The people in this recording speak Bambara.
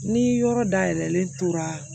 Ni yɔrɔ dayɛlɛlen tora